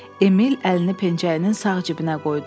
Emil əlini pencəyinin sağ cibinə qoydu.